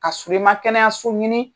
Ka sɔrɔ, i ma kɛnɛyaso ɲini